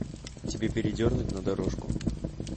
тебе передернуть на дорожку